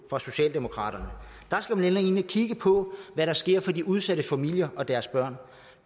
for socialdemokraterne der skal man ind og kigge på hvad der sker for de udsatte familier og deres børn